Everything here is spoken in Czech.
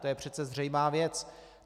To je přece zřejmá věc.